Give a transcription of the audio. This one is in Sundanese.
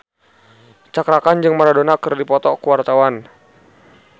Cakra Khan jeung Maradona keur dipoto ku wartawan